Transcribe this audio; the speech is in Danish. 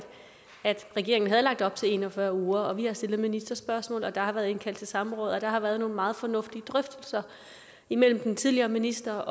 regeringen havde lagt op til en og fyrre uger vi har stillet ministerspørgsmål der har været indkaldt til samråd og der har været nogle meget fornuftige drøftelser imellem den tidligere minister